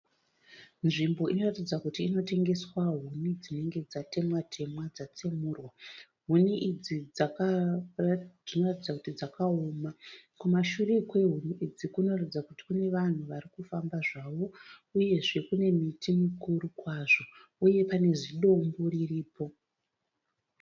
Nzvimbo inoratidza kuti inotengeswa huni dzinenge dzatemwa temwa dzatsemurwa, huni idzi dzinoratidza kuti dzakaoma, kumashure kwehuni idzi kunoratidza kuti kune vanhu vari kufamba zvavo, uyezve kune miti mikuru kwazvo uye pane zidombo riripo.